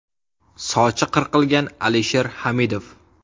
Sochi qirqilgan Alisher Hamidov.